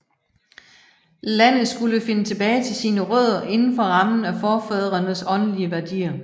Landet skulle finde tilbage til sin rødder indenfor rammen af forfædrenes åndelige værdier